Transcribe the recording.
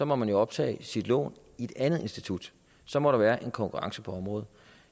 må man optage sit lån i et andet institut så må der være en konkurrence på området